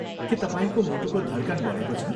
के तपाईँको मुटुको धड्कन बढेको छ?